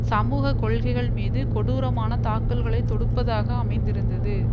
சமூக கொள்கைகள் மீது கொடூரமான தாக்கல்களை தொடுப்பதாக அமைந்திருந்தது